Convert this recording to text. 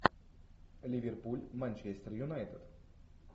ливерпуль манчестер юнайтед